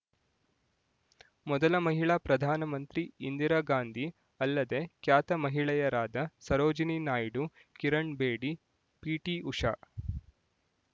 ಮೊದಲ ಮಹಿಳಾ ಪ್ರಧಾನ ಮಂತ್ರಿ ಇಂದಿರಾ ಗಾಂಧಿ ಅಲ್ಲದೆ ಖ್ಯಾತ ಮಹಿಳೆಯರಾದ ಸರೋಜಿನಿ ನಾಯ್ಡು ಕಿರಣ್ ಬೇಡಿ ಪಿಟಿಉಷಾ